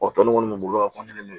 Ɔ tɔn nin kɔni ka